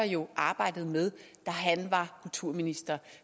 jo arbejdede med da han var kulturminister